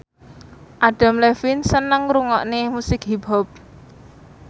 Adam Levine seneng ngrungokne musik hip hop